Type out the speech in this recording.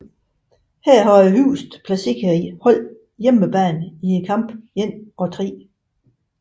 Her havde højest placeret hold hjemmebane i kamp 1 og 3